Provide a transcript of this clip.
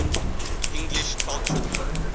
english culture